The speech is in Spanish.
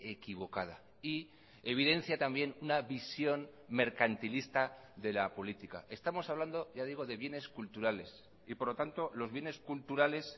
equivocada y evidencia también una visión mercantilista de la política estamos hablando ya digo de bienes culturales y por lo tanto los bienes culturales